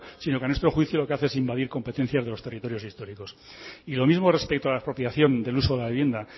sino que a nuestro juicio lo que hace es invadir competencias de los territorios históricos y lo mismo respecto a la expropiación del uso de la vivienda